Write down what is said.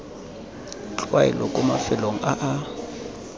tlwaelo kwa mafelong a a